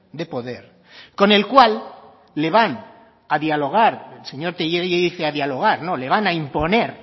de poder con el cual le van a dialogar el señor tellería y dice a dialogar no le van a imponer